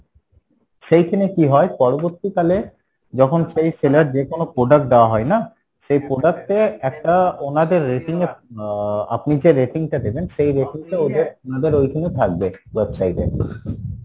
সেইখানে কী হয়, পরবর্তী কালে যখন সেই seller যে কোনো product টা দেওয়া হয় না? সে product এ একটা উনাদের rating এ আহ আপনি যে রেটিং টা দেবেন সেই rating টা ওদের উনাদের ওইখানে থাকবে, website এ